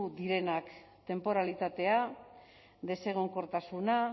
direnak tenporalitatea desegonkortasuna